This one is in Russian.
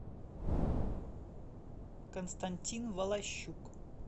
константин волощук